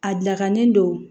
A lakanen don